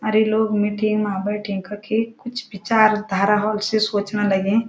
अर यि लोग मिटिंग मां बैठीं कखी कुछ विचारधारा होल से स्वचण लगीं।